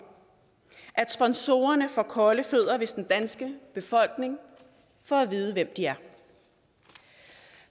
at sponsorerne får kolde fødder hvis den danske befolkning får at vide hvem de er